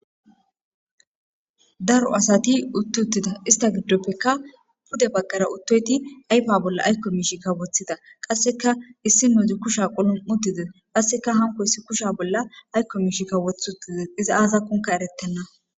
Daro asati utti uttida ista giddoppekka pude bagqara uttoyti aypa bolla ayko miishikka woththida qasseka issi nuuzi kusha qulum7u dide qasseka hanko issi kusha bolla aykko miishikka woth uttide iza aaza kunka eretenna.